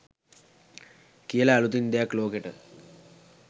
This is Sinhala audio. කියල අළුතින් දෙයක් ලෝකෙට